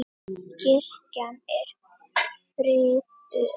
Kirkjan er friðuð.